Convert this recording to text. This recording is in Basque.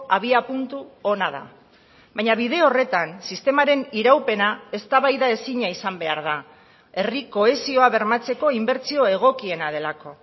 abiapuntu ona da baina bide horretan sistemaren iraupena eztabaidaezina izan behar da herri kohesioa bermatzeko inbertsio egokiena delako